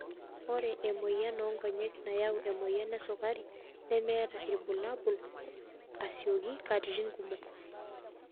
Ore emoyian oonkonyek nayau emoyian esukari nemeeta ilbulabul asioki katitin kumok.